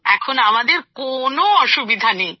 এখন আমাদের কোন অসুবিধাই নেই